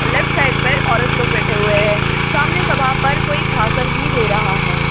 Left side पर औरत लोग बैठे हुए हैं सामने सभा पर कोई भाषण भी दे रहा है।